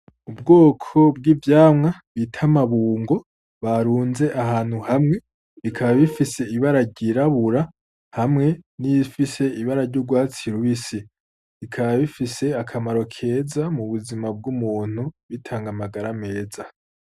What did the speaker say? Ubwoko bw'ivyamwa bita amabungo bafunze ahantu hamwe, bikaba bifise ibara ryirabura hamwe n'ibifise ibara ry'urwatsi rubisi. Bikaba bifise akamaro keza mu buzima bw'umuntu, bitanga amagara meza.